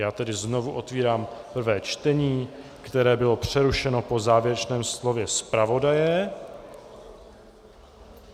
Já tedy znovu otvírám prvé čtení, které bylo přerušeno po závěrečném slově zpravodaje.